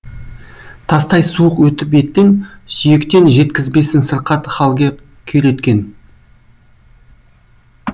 тастай суық өтіп еттен сүйектен жеткізбесін сырқат халге күйреткен